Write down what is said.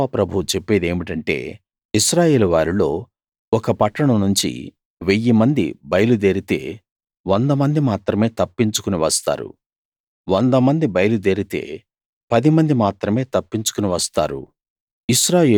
యెహోవా ప్రభువు చెప్పేదేమిటంటే ఇశ్రాయేలు వారిలో ఒక పట్టణం నుంచి వెయ్యి మంది బయలుదేరితే వంద మంది మాత్రమే తప్పించుకుని వస్తారు వంద మంది బయలుదేరితే పది మంది మాత్రమే తప్పించుకుని వస్తారు